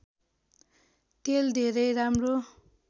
तेल धेरै राम्रो